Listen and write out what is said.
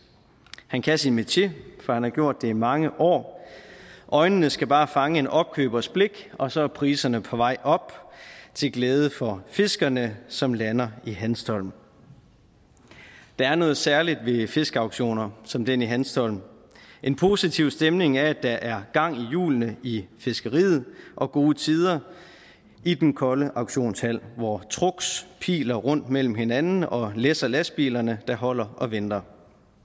han kan sin metier for han har gjort det i mange år øjnene skal bare fange en opkøbers blik og så er priserne på vej op til glæde for fiskerne som lander i hanstholm der er noget særligt ved fiskeauktioner som den i hanstholm en positiv stemning er at der er gang i hjulene i fiskeriet og gode tider i den kolde auktionshal hvor trucks piler rundt imellem hinanden og læsser lastbilerne der holder og venter